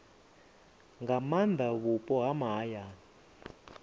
nga maana vhupo ha mahayani